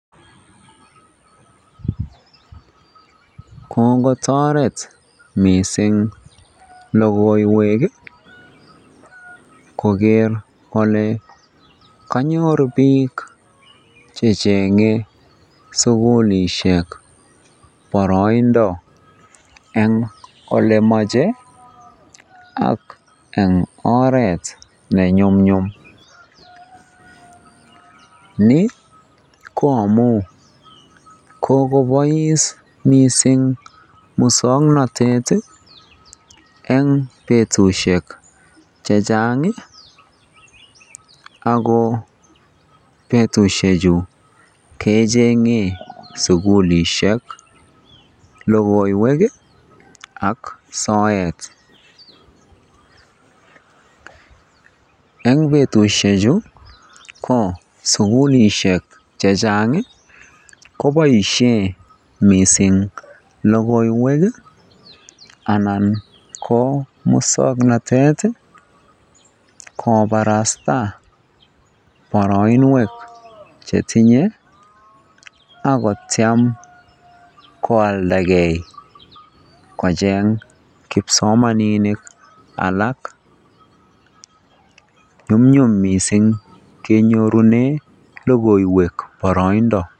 Kokotoret mising lokoiwek koker kolee konyor biik chechenge sukulishek boroindo en olemoche ak en oreet ne nyumnyum, nii ko amun kokobois mising muswoknotet en betushek chechang ak ko en betushechu kechenge sukulishek lokoiwek ak soet, eng betushechu ko sukulishe chechang koboishen mising lokoiwek anan ko muswoknotet kobarasta boroinwek chetinye ak kotiem koaldake kocheng kipsomaninik alak, nyumnyum mising kenyorunen lokoiwek boroindo.